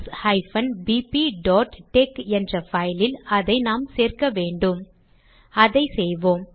maths bpடெக் என்ற file ல் அதை நாம் சேர்க்க வேண்டும் அதை செய்வோம்